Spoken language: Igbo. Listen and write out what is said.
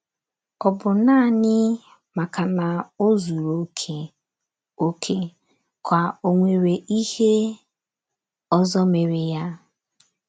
Ọ̀ bụ naanị maka na o zuru okè, okè, ka ò nwere ihe ọzọ mere ya?